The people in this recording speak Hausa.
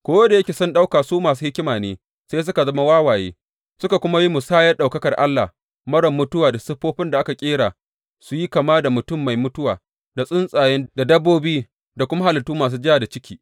Ko da yake sun ɗauka su masu hikima ne, sai suka zama wawaye, suka kuma yi musayar ɗaukakar Allah marar mutuwa da siffofin da aka ƙera su yi kama da mutum mai mutuwa da tsuntsaye da dabbobi da kuma halittu masu ja da ciki.